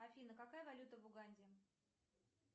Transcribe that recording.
афина какая валюта в уганде